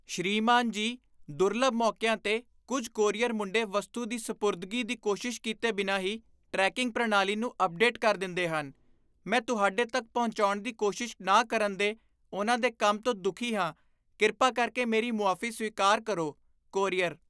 ਸ੍ਰੀਮਾਨ ਜੀ, ਦੁਰਲੱਭ ਮੌਕੀਆਂ 'ਤੇ, ਕੁੱਝ ਕੋਰੀਅਰ ਮੁੰਡੇ ਵਸਤੂ ਦੀ ਸਪੁਰਦਗੀ ਦੀ ਕੋਸ਼ਿਸ਼ ਕੀਤੇ ਬਿਨਾਂ ਹੀ ਟਰੈਕਿੰਗ ਪ੍ਰਣਾਲੀ ਨੂੰ ਅਪਡੇਟ ਕਰ ਦਿੰਦੇਹਨ ਮੈਂ ਤੁਹਾਡੇ ਤੱਕ ਪਹੁੰਚਾਉਣ ਦੀ ਕੋਸ਼ਿਸ਼ ਨਾ ਕਰਨ ਦੇ ਉਨ੍ਹਾਂ ਦੇ ਕੰਮ ਤੋਂ ਦੁੱਖੀ ਹਾਂ, ਕਿਰਪਾ ਕਰਕੇ ਮੇਰੀ ਮੁਆਫ਼ੀ ਸਵੀਕਾਰ ਕਰੋ, ਕੋਰੀਅਰ